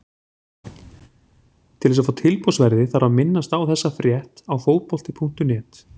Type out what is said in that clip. Til þess að fá tilboðsverðið þarf að minnast á þessa frétt á Fótbolti.net.